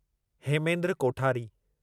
Hemendra Kothari